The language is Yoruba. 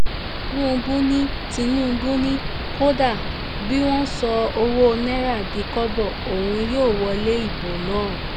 tinubu ni tinubu ni kódà bí wọ́n sọ ọwọ́ náírà di kọ́bọ̀ òun yóò wọlé ìbò náà